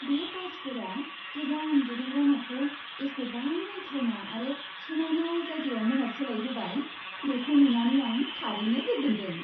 बे टाइल्सफोरा गोजाम दुगैग्रा न'खौ एसेबां नायथावना आरो समायना जायगायाव महर सोलायहोबाय, बेखौ नुनानै आं थारैनो गोजोनदों।